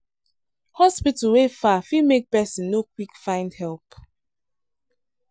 hospital wey far fit make person no quick find help.